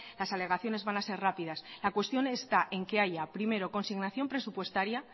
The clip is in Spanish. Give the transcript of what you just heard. las alegaciones van a ser rápidas la cuestión está en que haya primero consignación presupuestaria